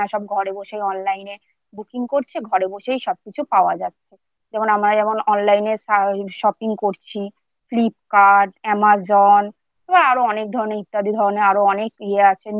ঘরে বসে Online Booking করছে, ঘরে বসেই সবকিছু পাওয়া যাচ্ছে। যেমন আমরা যেমন Online এ Shopping করছি৷ Flipkart Amazon আরও অনেক ধরণের ইত্যাদি ধরনের আরও অনেক আছে যেমন